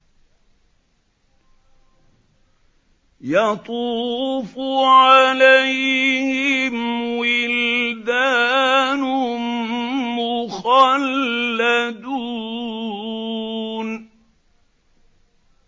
يَطُوفُ عَلَيْهِمْ وِلْدَانٌ مُّخَلَّدُونَ